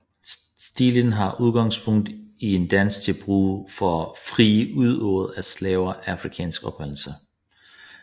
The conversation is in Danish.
Stilen har udgangspunkt i en dans til brug for frieri udøvet af slaver af afrikansk oprindelse